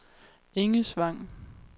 Engesvang